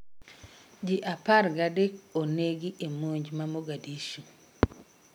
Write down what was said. Jii apar gadek onegi ee monj ma Mogadishu